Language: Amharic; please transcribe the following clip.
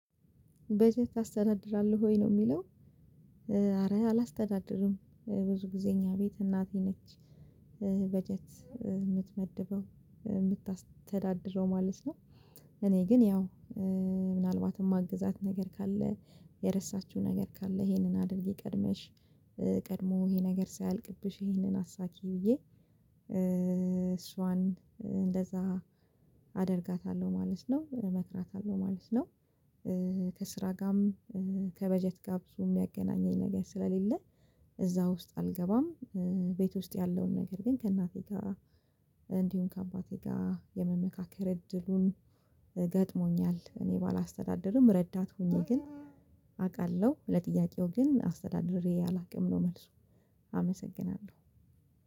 በዚህ ታስተዳድራለህ ወይ ነው የሚለው ኧረ አላስተዳድርም ብዙ ጊዜ እኛ ቤት እናቴ ነች በጀት የምትመድበው የምታስተዳድረው ማለት ነው እኔ ግን ያው ምናልባትም ማግዛት ነገር ካለ የረሳችው ነገር ካለ ይሄንን አድርጊ ቀድመሽ ቀድሞ ይሄ ነገር ሳይልቅብሽ ይሄንን አሳኪ ብዬ እሷን እንደዛ አደርጋታለሁ ማለት ነው እመክራታለሁ ማለት ነው ከስራ ጋርም ከበጀት ጋ ብዙ የሚያገናኘኝ ነገር ስለሌለ እዛ ውስጥ አልገባም ቤት ውስጥ ያለውን ነገር ግን ከእናቴ ጋር እንዲሁም ከአባቴ ጋር የመመካከር እድሉን ገጥሞኛል። እኔ ባላስተዳድርም ረዳት ሆኜ ግን አውቃለሁ ለጥያቄው ግን አስተዳድሬ አላውቅም ነው መልሱ አመሰግናለሁ።